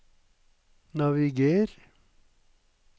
naviger